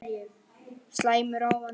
Slæmur ávani